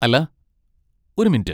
അല്ലാ, ഒരു മിനുറ്റ്.